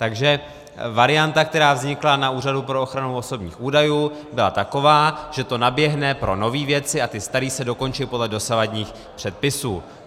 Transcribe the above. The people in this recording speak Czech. Takže varianta, která vznikla na Úřadu pro ochranu osobních údajů, byla taková, že to naběhne pro nové věci a ty staré se dokončí podle dosavadních předpisů.